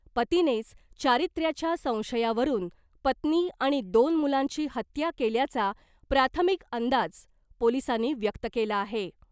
पतीनेच चारित्र्याच्या संशयावरून पत्नी आणि दोन मुलांची हत्या केल्याचा प्राथमिक अंदाज पोलिसांनी व्यक्त केला आहे .